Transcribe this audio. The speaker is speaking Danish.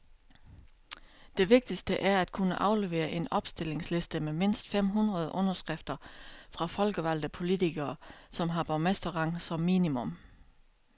Det vigtigste er at kunne aflevere en opstillingsliste med mindst fem hundrede underskrifter fra folkevalgte politikere, som har borgmesterrang som minimum.